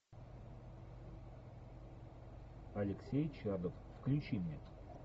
алексей чадов включи мне